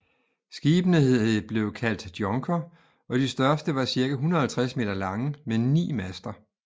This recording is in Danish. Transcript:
Skibene blev kaldt djonker og de største var cirka 150 m lange med ni master